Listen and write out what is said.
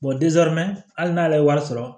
hali n'ale ye wari sɔrɔ